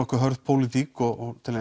hörð pólitík og til